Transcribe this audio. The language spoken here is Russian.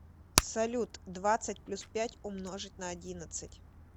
салют двадцать плюс пять умножить на одиннадцать